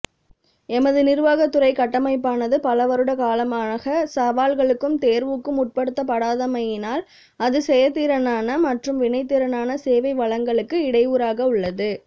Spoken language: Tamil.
எமது நிருவாகத்துறை கட்டமைப்பானது பலவருட காலமாக சவால்களுக்கும் தேர்வுக்கும் உட்படுத்தப்படாதமையினால் அது செயற்திறனான மற்றும் வினைத்திறனான சேவை வழங்களுக்கு இடையூறாகவுள்ளது